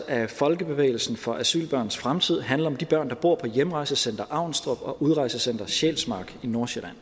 af folkebevægelsen for asylbørns fremtid handler om de børn der bor på hjemrejsecenter avnstrup og udrejsecenter sjælsmark i nordsjælland